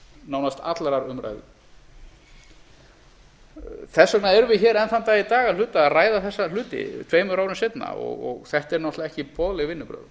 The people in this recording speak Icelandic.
nánast allrar umræðu þess vegna erum við hér enn þann dag í dag að hluta að ræða þessa hluti tveimur árum seinna og þetta eru náttúrlega ekki boðleg vinnubrögð